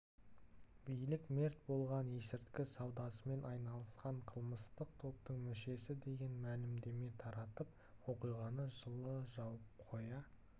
билік мерт болғандар есірткі саудасымен айналысқан қылмыстық топтың мүшесі деген мәлімдеме таратып оқиғаны жылы жауып қоя